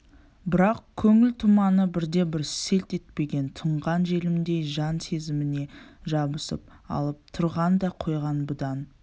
бірақ көңіл тұманы бірде-бір селт етпеген тұнған желімдей жан сезіміне жабысып алып тұрған да қойған бұдан